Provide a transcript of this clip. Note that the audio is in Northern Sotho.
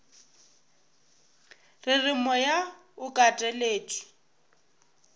re re moya o kateletšwe